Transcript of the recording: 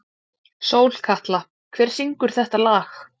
Sólkatla, hver syngur þetta lag?